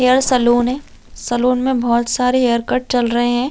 Hair salon है salon में बहोत सारे हैयर कट चल रहै है।